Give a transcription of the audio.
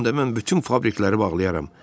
Onda mən bütün fabrikləri bağlayaram.